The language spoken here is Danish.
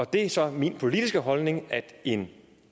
det er så min politiske holdning at en